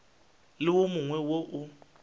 le wo mongwe wo o